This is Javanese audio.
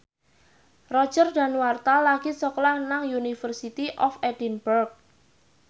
Roger Danuarta lagi sekolah nang University of Edinburgh